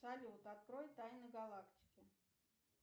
салют открой тайны галактики